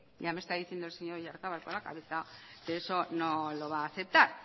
ya me está diciendo el señor oyarzabal con la cabeza que eso no lo va a aceptar